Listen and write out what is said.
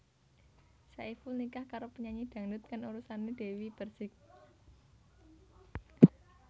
Saiful nikah karo penyanyi dangdut kang urusané Dewi Perssik